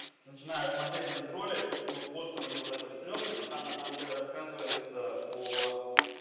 начинаю смотреть этот ролик но постер у него такой стремный но там на самом деле рассказывается о